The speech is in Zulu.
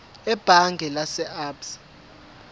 ebhange lase absa